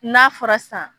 N'a fɔra sisan